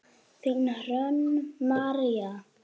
Þín Hrönn María.